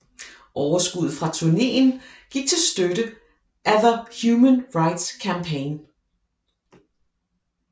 Overskuddet fra turnéen gik til støtte af the Human Rights Campaign